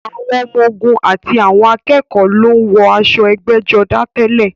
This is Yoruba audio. Àwọn ọmọ-ogun àti àwọn akẹ́kọ̀ọ́ ló ń wọ aṣọ ẹgbẹ́jọdá tẹ́lẹ̀.